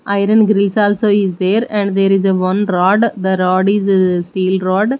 iron grills also is there and there is one rod the rod is steel rod.